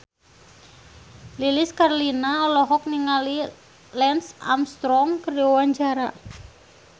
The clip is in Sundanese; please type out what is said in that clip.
Lilis Karlina olohok ningali Lance Armstrong keur diwawancara